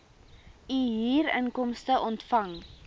u huurinkomste ontvang